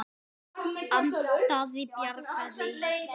Að bjarga sér.